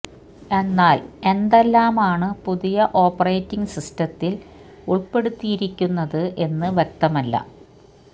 എന്നാല് എന്തെല്ലാം ആണ് പുതിയ ഓപ്പറേറ്റിങ് സിസ്റ്റത്തില് ഉള്പ്പെടുത്തിയിരി ക്കുന്നത് എന്ന് വ്യക്തമല്ല